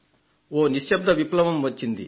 ఓ నిశ్శబ్ధ విప్లవం వచ్చింది